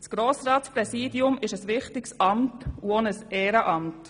Das Grossratspräsidium ist ein wichtiges Amt und auch ein Ehrenamt.